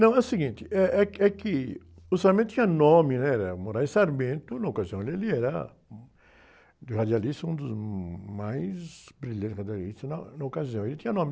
Não, é o seguinte, eh, eh, é que o tinha nome, né? Era, na ocasião, ele era um, dos radialistas, um dos mais brilhantes radialistas na ocasião, ele tinha nome.